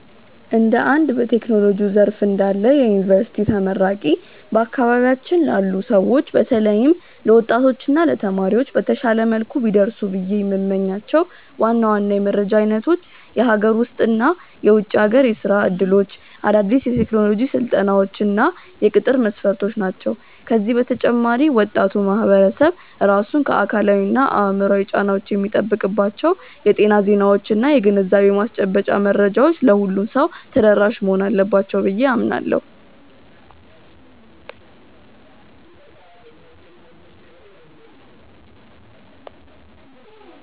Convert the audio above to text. እንደ አንድ በቴክኖሎጂው ዘርፍ ላይ እንዳለ የዩኒቨርሲቲ ተመራቂ፣ በአካባቢያችን ላሉ ሰዎች በተለይም ለወጣቶች እና ለተማሪዎች በተሻለ መልኩ ቢደርሱ ብዬ የምመኛቸው ዋና ዋና የመረጃ አይነቶች የሀገር ውስጥ እና የውጭ ሀገር የሥራ ዕድሎች፣ አዳዲስ የቴክኖሎጂ ስልጠናዎች እና የቅጥር መስፈርቶች ናቸው። ከዚህ በተጨማሪ ወጣቱ ማህበረሰብ ራሱን ከአካላዊና አእምሯዊ ጫናዎች የሚጠብቅባቸው የጤና ዜናዎችና የግንዛቤ ማስጨበጫ መረጃዎች ለሁሉም ሰው ተደራሽ መሆን አለባቸው ብዬ አምናለሁ።